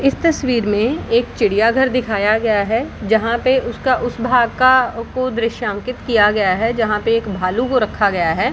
इस तस्वीर मे एक चिड़िया घर दिखाया गया है जहाँ पे उसका उस भाग का को दृश्यांकित किया गया है जहाँ पे एक भालू को रखा गया है |